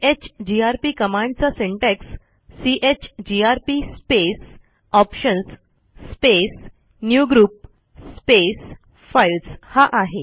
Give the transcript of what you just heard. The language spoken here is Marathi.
चीजीआरपी कमांडचा syntax chgrp space options space new group space files हा आहे